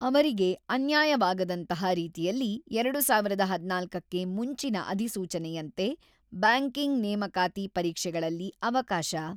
ಅವರಿಗೆ ಅನ್ಯಾಯವಾಗದಂತಹ ರೀತಿಯಲ್ಲಿ ಎರಡು ಸಾವಿರದ ಹದಿನಾಲ್ಕಕ್ಕೆ ಮುಂಚಿನ ಅಧಿಸೂಚನೆಯಂತೆ ಬ್ಯಾಂಕಿಂಗ್ ನೇಮಕಾತಿ ಪರೀಕ್ಷೆಗಳಲ್ಲಿ ಅವಕಾಶ